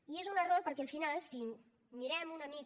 i és un error perquè al final si mirem una mica